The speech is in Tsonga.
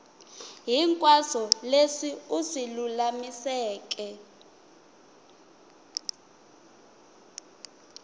hinkwaswo leswi u swi lulamiseke